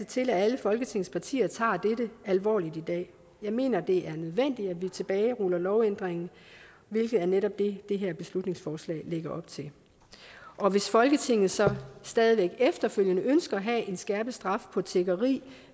til at alle folketingets partier tager dette alvorligt i dag jeg mener at det er nødvendigt at vi tilbageruller lovændringen hvilket netop er det det her beslutningsforslag lægger op til og hvis folketinget så stadig væk efterfølgende ønsker at have en skærpet straf for tiggeri